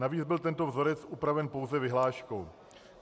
Navíc byl tento vzorec upraven pouze vyhláškou.